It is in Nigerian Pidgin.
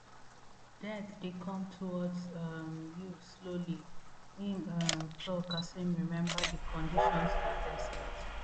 death dey come towards um you slowly im um tok as im remember di conditions for desert